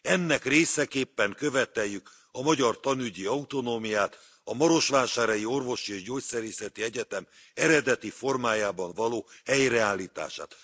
Ennek részeképpen követeljük a magyar tanügyi autonómiát, a Marosvásárhelyi Orvosi és Gyógyszerészeti Egyetem eredeti formájában való helyreállítását.